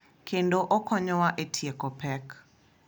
Kendo okonywa e tieko pek.